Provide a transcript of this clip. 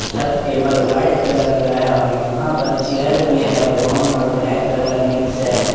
सब table white colour का है और यहां पर चेयर भी है ब्राउन और ब्लैक कलर मिक्स है।